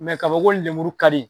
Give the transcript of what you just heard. kaba ko lemuru ka di